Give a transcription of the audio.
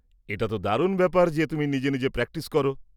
-এটা তো দারুণ ব্যাপার যে তুমি নিজে নিজে প্র্যাকটিস করো।